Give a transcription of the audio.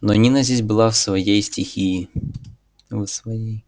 но нина здесь была в своей стихии в своей